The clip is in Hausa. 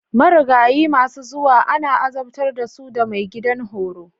Marigayi masu zuwa ana azabtar da su da maigidan horo.